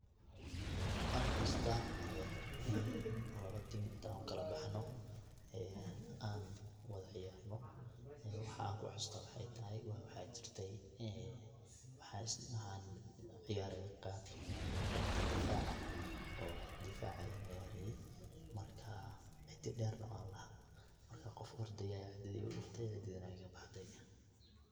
Wan xasuusta in laba tim intan ukula baxno an wada ciyarno, waxaan kuxaasusto waxay tahay waa waxa jirtay waxan ciyaaraye qebta difaca, oo difac ayan ciyaraye marka cidi dheer na wan laha, marka qof ordaya cidada igudhuftay cididii na way iga baxday.